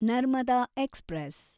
Narmada express